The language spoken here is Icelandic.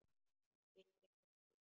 Það skiptir engu máli.